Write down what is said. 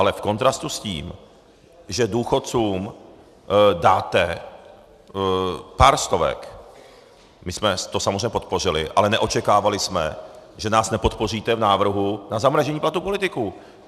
Ale v kontrastu s tím, že důchodcům dáte pár stovek - my jsme to samozřejmě podpořili, ale neočekávali jsme, že nás nepodpoříte v návrhu na zamrazení platu politiků.